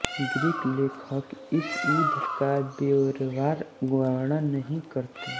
Greek लेखक इस युद्ध का ब्योरेवार वर्णन नहीं करते